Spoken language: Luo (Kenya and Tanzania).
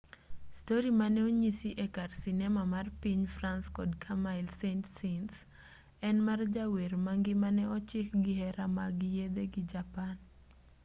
stori mane onyisi e kar sinema mar piny france kod camille saint-saens en mar jawer ma ngimane ochik gi hera mag yedhe gi japan